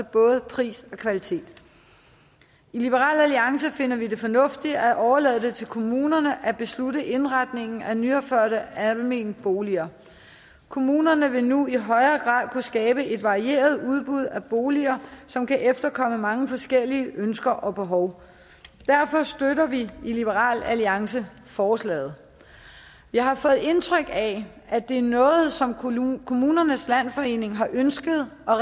både pris og kvalitet i liberal alliance finder vi det fornuftigt at overlade det til kommunerne at bestemme indretningen af nyopførte almene boliger kommunerne vil nu i højere grad kunne skabe et varieret udbud af boliger som kan efterkomme mange forskellige ønsker og behov derfor støtter vi i liberal alliance forslaget jeg har fået indtryk af at det er noget som kommunernes landsforening har ønsket og